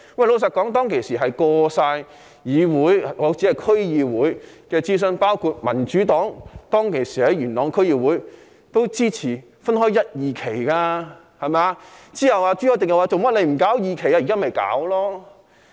老實說，當時已經過議會——我說的是區議會——諮詢，包括當時元朗區議會的民主黨也支持分開一、二期進行。